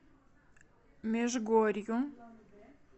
межгорью